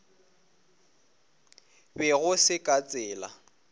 be go se ka tsela